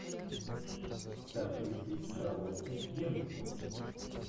с актрисой шарлоттой генсбур